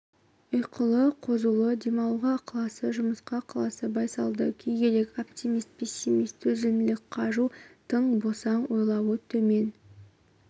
ұйқылы қозулы демалуға ықыласы жұмысқа ықыласы байсалды күйгелек оптимист пессимист төзімділік қажу тың босаң ойлауы төмен